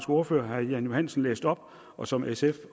ordfører herre jan johansen læste op og som sf